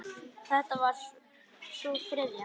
Þetta var sú þriðja.